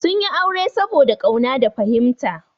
Sun yi aure saboda ƙauna da fahimta.